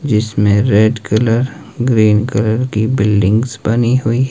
जिसमें red colour green colour की buildings बनी हुई--